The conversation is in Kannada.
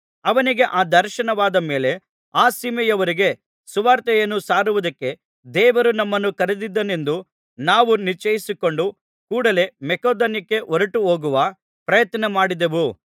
ಅವನಿಗೆ ಆ ದರ್ಶನವಾದ ಮೇಲೆ ಆ ಸೀಮೆಯವರಿಗೆ ಸುವಾರ್ತೆಯನ್ನು ಸಾರುವುದಕ್ಕೆ ದೇವರು ನಮ್ಮನ್ನು ಕರೆದಿದ್ದಾನೆಂದು ನಾವು ನಿಶ್ಚಯಿಸಿಕೊಂಡು ಕೂಡಲೆ ಮಕೆದೋನ್ಯಕ್ಕೆ ಹೊರಟುಹೋಗುವ ಪ್ರಯತ್ನಮಾಡಿದೆವು